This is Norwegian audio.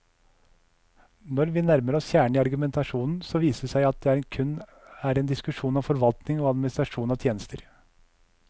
Når vi nærmer oss kjernen i argumentasjonen, så viser det seg at det kun er en diskusjon om forvaltning og administrasjon av tjenester.